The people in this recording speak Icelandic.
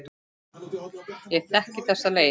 Ég þekki þessa leið.